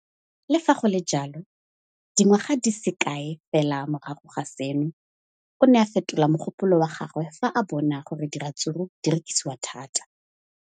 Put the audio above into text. Le fa go le jalo, dingwaga di se kae fela morago ga seno, o ne a fetola mogopolo wa gagwe fa a bona gore diratsuru di rekisiwa thata.